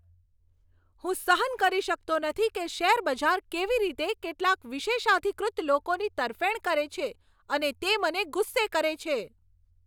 હું સહન કરી શકતો નથી કે શેરબજાર કેવી રીતે કેટલાક વિશેષાધિકૃત લોકોની તરફેણ કરે છે અને તે મને ગુસ્સે કરે છે.